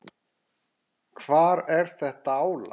Hvar er þetta álag?